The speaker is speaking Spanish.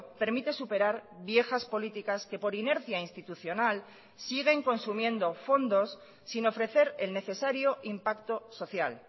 permite superar viejas políticas que por inercia institucional siguen consumiendo fondos sin ofrecer el necesario impacto social